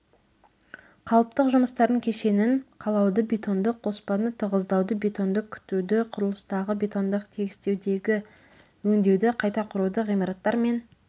қалыптық жұмыстардың кешенін қалауды бетондық қоспаны тығыздауды бетонды күтуді құрылыстағы бетондық тегістеудегі өңдеуді қайта құруды ғимараттар мен